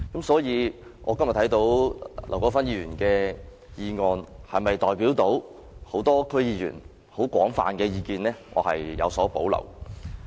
所以，劉國勳議員的議案是否能代表眾多區議員廣泛的意見，我對此有所保留。